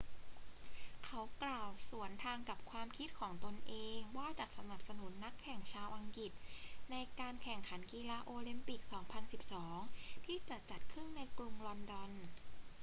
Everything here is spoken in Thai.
เขากล่าวสวนทางกับความคิดเห็นของตนเองว่าจะสนับสนุนนักแข่งชาวอังกฤษในการแข่งขันกีฬาโอลิมปิก 2012 ที่จะจัดขึ้นในกรุงลอนดอน